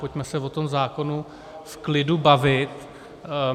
Pojďme se o tom zákonu v klidu bavit.